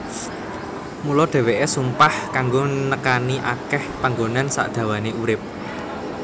Mula dhèwèké sumpah kanggo nekani akèh panggonan sakdawané urip